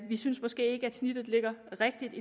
vi synes måske ikke at snittet ligger rigtigt